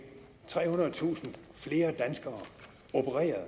trehundredetusind flere danskere opereret